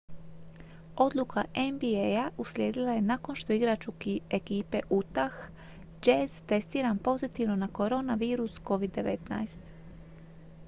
odluka nba-a uslijedila je nakon što je igrač ekipe utah jazz testiran pozitivno na koronavirus covid-19